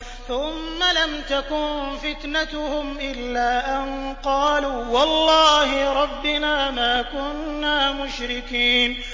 ثُمَّ لَمْ تَكُن فِتْنَتُهُمْ إِلَّا أَن قَالُوا وَاللَّهِ رَبِّنَا مَا كُنَّا مُشْرِكِينَ